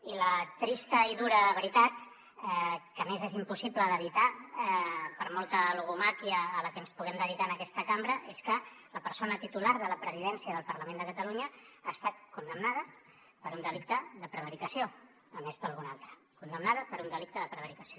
i la trista i dura veritat que a més és impossible d’evitar per molta logomàquia a la que ens puguem dedicar en aquesta cambra és que la persona titular de la presidència del parlament de catalunya ha estat condemnada per un delicte de prevaricació a més d’algun altre condemnada per un delicte de prevaricació